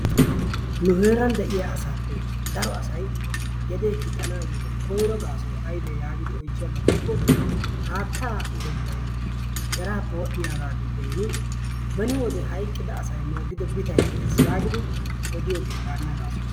Nu heeran de'iyaa asappe daro asay gedee kixxiyo koyro gaasoy aybbe yaagidi oychchiyaba gidikko haatta uttetay kerappe wodhdhiyaaga giddon beni wode hayqqida asay moogido biittay de'es yaagidi odiyoogee waanna gaaso.